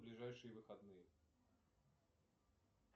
ближайшие выходные